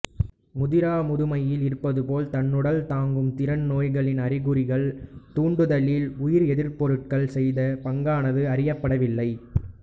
முதிராமுதுமையில் இருப்பது போல தன்னுடல் தாங்கு திறன் நோய்களின் அறிகுறிகள் தூண்டுதலில் உயிர் எதிர்ப்பொருள்கள் செய்த பங்கானது அறியப்படவில்லை